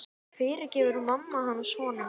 En fyrirgefur mamma hans honum?